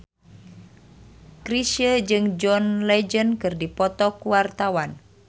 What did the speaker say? Chrisye jeung John Legend keur dipoto ku wartawan